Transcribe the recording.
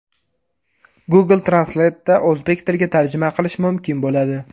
Google Translate’da o‘zbek tiliga tarjima qilish mumkin bo‘ladi.